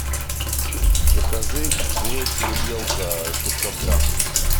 закажи гречу увелка пятьсот грамм